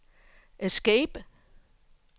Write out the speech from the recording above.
escape